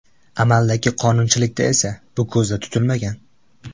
Amaldagi qonunchilikda esa bu ko‘zda tutilmagan.